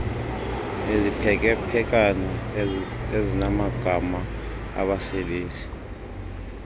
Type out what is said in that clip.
iziphekephekana ezinamagama abasebezi